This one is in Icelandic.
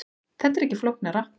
Þetta er ekki flóknara